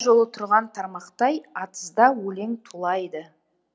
жолы тұрған тармақтай атызда өлең тулайды